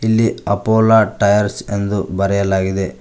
ಇಲ್ಲಿ ಅಪೋಲೋ ಟೈರ್ಸ್ ಎಂದು ಬರೆಯಲಾಗಿದೆ.